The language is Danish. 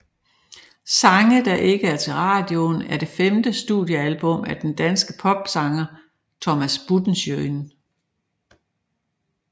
Sange der ikke er til radioen er det femte studiealbum af den danske popsanger Thomas Buttenschøn